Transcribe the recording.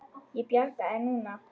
Ég bjarga þér núna.